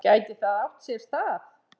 Gæti það átt sér stað?